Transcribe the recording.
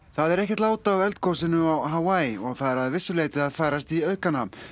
það er ekkert lát á eldgosinu á Hawaii og það er að vissu leyti að færast í aukana